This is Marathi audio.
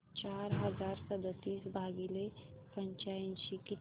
चार हजार सदतीस भागिले पंच्याऐंशी किती